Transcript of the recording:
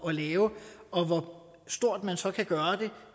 at lave og hvor stort man så kan gøre